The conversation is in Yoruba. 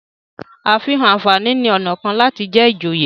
àfihàn ànfàní ní ọnà kán láti jé ijoye.